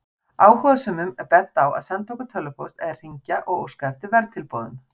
Áhugasömum er bent á að senda okkur tölvupóst eða hringja og óska eftir verðtilboðum.